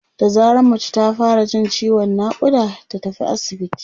da zarar mace ta fara Jin ciwon naƙuda ta tafi asibiti